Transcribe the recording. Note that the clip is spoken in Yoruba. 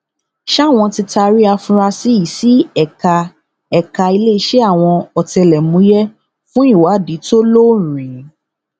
sá wọn ti taari àfúráṣí yìí sí ẹka ẹka iléeṣẹ àwọn ọtẹlẹmúyẹ fún ìwádìí tó lọ́ọ̀rìn